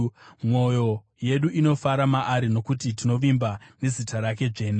Mwoyo yedu inofara maari, nokuti tinovimba nezita rake dzvene.